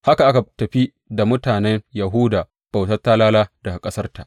Haka aka tafi da mutanen Yahuda bautar talala, daga ƙasarta.